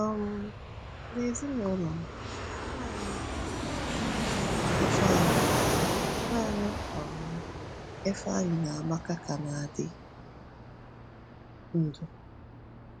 um N’ezinụlọ m, naanị um Ifeanyi naanị um Ifeanyi na Amaka ka na-adị ndụ.